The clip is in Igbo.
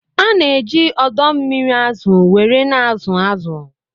Ana eji odo mmiri azụ were na azụ azụ